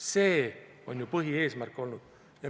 See on ju põhieesmärk olnud.